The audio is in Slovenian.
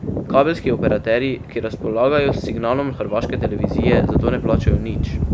Kabelski operaterji, ki razpolagajo s signalom hrvaške televizije, za to ne plačajo nič.